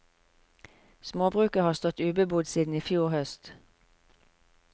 Småbruket har stått ubebodd siden i fjor høst.